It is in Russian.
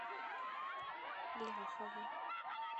ляхова